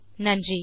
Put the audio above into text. நன்றி